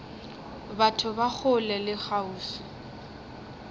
batho ba kgole le kgauswi